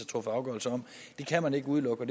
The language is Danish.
truffet afgørelse om det kan man ikke udelukke